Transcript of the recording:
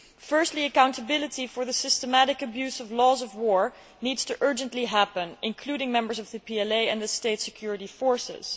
Firstly, accountability for the systematic abuse of laws of war needs to urgently happen, including among members of the PLA and the state security forces.